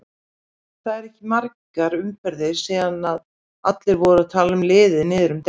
Það eru ekki margar umferðir síðan allir voru að tala liðið niður um deild.